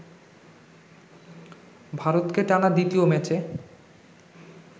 ভারতকে টানা দ্বিতীয় ম্যাচে